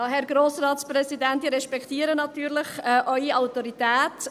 Ja, Herr Grossratspräsident, ich respektiere natürlich Ihre Autorität.